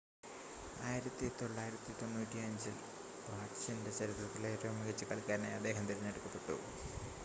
1995-ൽ പാർടിസൻ്റെ ചരിത്രത്തിലെ ഏറ്റവും മികച്ച കളിക്കാരനായി അദ്ദേഹം തിരഞ്ഞെടുക്കപ്പെട്ടു